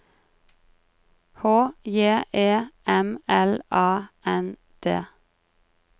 H J E M L A N D